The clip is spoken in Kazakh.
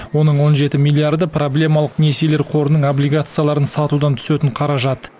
оның он жеті миллиарды проблемалық несиелер қорының облигацияларын сатудан түсетін қаражат